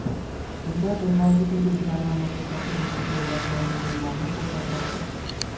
Bunda bilvosita belgilar mamlakatda turli cheklovlar joriy qilinganini ko‘rsatmoqda.